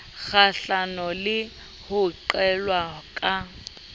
kgahlano le ho qhelelwa ka